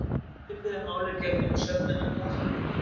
Svipuðu máli gegnir með sögnina hlakka.